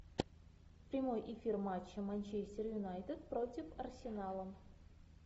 прямой эфир матча манчестер юнайтед против арсенала